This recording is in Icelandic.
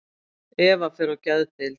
Eva fer á geðdeild.